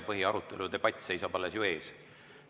Põhiarutelu, ‑debatt seisab ju alles ees.